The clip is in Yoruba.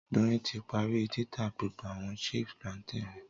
Doyin ti parí títà gbogbo àwọn chip plantain rẹ